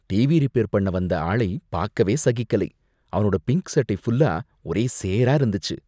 TV repair பண்ண வந்த ஆளை பாக்கவே சகிக்கலை, அவனோட பிங்க் சட்டை ஃபுல்லா ஒரே சேரா இருந்துச்சு.